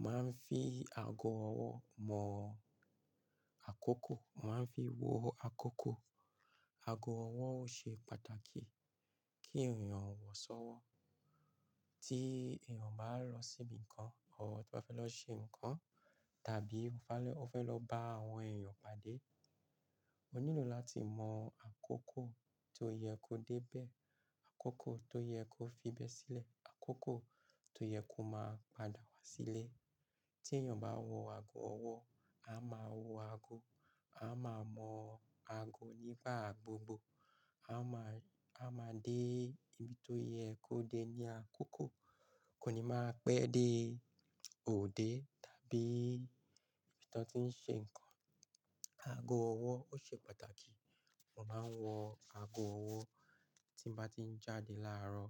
Mo máa ń fi ago ọwọ́ mọ àkókò, màá ń fi wo àkókò. Ago ọwọ́ ó ṣe pàtàkì kí èèyàn wọ̀ sọ́wọ́. Tí èèyàn bá lọ síbi kan or tí o ba fẹ́ lọ ṣe nǹkan, tàbí ó fẹ́ lọ bá àwọn èèyàn pàdé, ó nílò láti mọ àkókò ti ó yẹ kó dé bẹ́ẹ̀, àkókò tó yẹ kó fi ibẹ́ sílẹ̀, àkókò tó yẹ kó máa padà wá sílé. Tí èèyàn bá wọ ago ọwọ́, a máa wo ago, a máa mọ̀ ago nígbà gbogbo. A máa, a máa dé ibi tó yẹ kó dé ní àkókò, kò ní máa pẹ́ dé òde tàbí ibi tí wọ́n ti ń ṣe nǹkan. Ago ọwọ́ ó ṣe pàtàkì. Mo máa ń wọ ago ọwọ́ tí mo bá tí ń jáde láàárọ̀